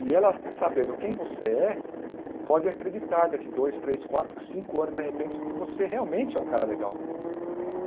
E ela, sabendo quem você é, pode acreditar daqui dois, três, quatro, cinco anos, de repente, que você realmente é um cara legal.